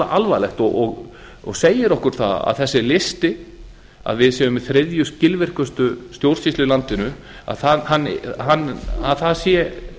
alvarlegt og segir okkur það að þessi listi að við séum með þriðju skilvirkustu stjórnsýslu í landinu að það sé